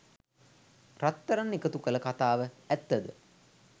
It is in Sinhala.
රත්රන් එකතු කළ කතාව ඇත්ත ද?